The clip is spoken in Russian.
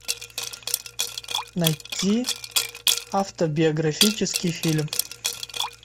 найти автобиографический фильм